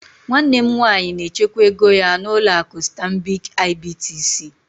Nwanne m nwanyị na-echekwa ego ya na ụlọ akụ stanbịkị IBTC.